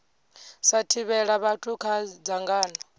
sa thivhela vhathu kha dzangano